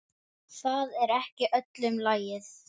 Það er ekki öllum lagið.